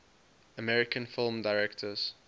american film directors